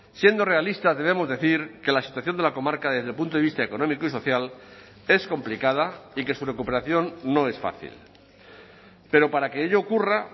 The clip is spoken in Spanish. siendo realistas debemos decir que la situación de la comarca desde el punto de vista económico y social es complicada y que su recuperación no es fácil pero para que ello ocurra